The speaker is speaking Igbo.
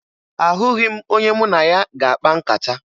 Ahụghị m onye mụ na ya ga-akpa nkata.